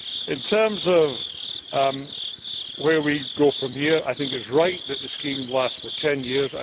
it. In terms of where we go from here, I think it is right that the scheme lasts for ten years.